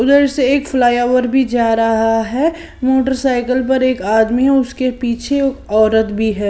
उधर से एक फ्लाईओवर भी जा रहा है मोटरसाइकिल पर एक आदमी उसके पीछे औरत भी है।